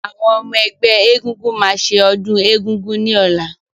Àwọn ọmọ-ẹgbẹ́ ẹgúngún máa ṣe ọdún egúngún ní ọ̀la.